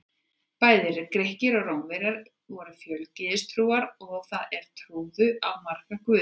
Bæði Grikkir og Rómverjar voru fjölgyðistrúar, það er trúðu á marga guði.